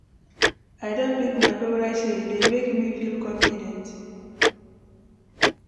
I don pick my favorite shirt, e dey make me feel confident.